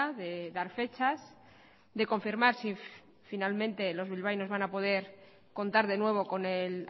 de dar fechas de confirmar si finalmente los bilbaínos van a poder contar de nuevo con el